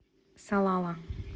салала